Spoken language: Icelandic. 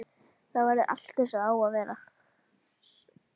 Þá verður allt eins og það á að vera.